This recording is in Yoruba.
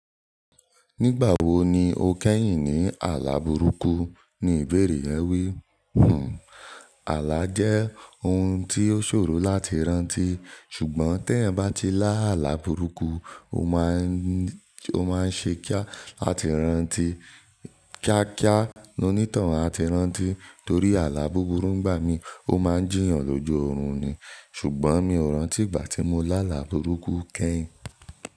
"Nígbà wo ni o kẹ́yìn ní àlà burúkú?" Ni ìbéèrè ẹ wí. Hmmm àlà jẹ́ ohun tí ó ṣòro láti rántí, ṣùgbọ́n tí ẹ̀eyan bá ti lá àlà burúkú, o máa ń ṣe kí a láti rántí, kíá kíá, lo ní toun a ti rántí torí àlà búburú ńgbà mí, ó máa ń jìyàn lójú oorun ni. Ṣùgbọ́n mi ò rántí ìgbà tí mo lá àlà burúkú kẹ́yìn.